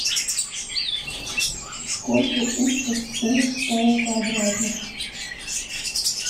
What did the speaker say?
сколько усиков у паукообразных